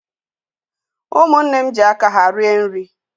Umunne m ji aka ha rie nri